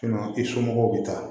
i somɔgɔw bɛ taa